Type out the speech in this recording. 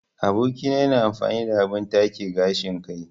Aboki na yana amfani da abin take gashin kai.